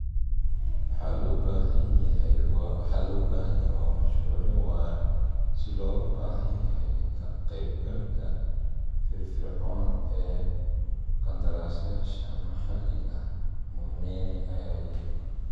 "Waxa loo baahan yahay waa mashruucyo waara si loogu baahan yahay ka qaybgalka firfircoon ee qandaraaslayaasha maxalliga ah," Munene ayaa yidhi.